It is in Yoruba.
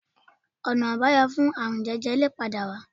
Ọ̀nà àbáyọ fún ààrun jẹjẹrẹ lè padà wà